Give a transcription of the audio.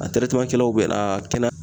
A kɛlaw bɛɛ la kɛnɛ